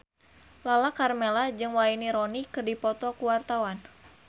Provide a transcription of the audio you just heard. Lala Karmela jeung Wayne Rooney keur dipoto ku wartawan